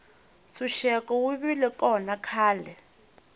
ntshuxeko wu vile kona khale